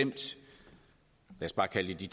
i